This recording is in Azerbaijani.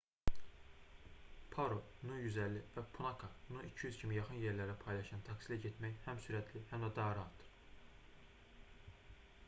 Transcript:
paro nu 150 və punakha nu 200 kimi yaxın yerlərə paylaşılan taksi ilə getmək həm sürətli həm də rahatdır